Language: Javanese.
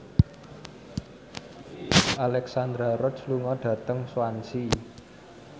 Alexandra Roach lunga dhateng Swansea